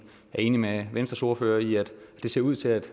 enig med venstres ordfører i at det ser ud til